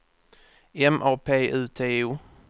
M A P U T O